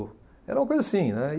Era uma coisa assim, né.